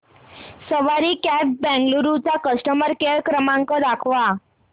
सवारी cabs Bengaluru चा customer care क्रमांक दाखवा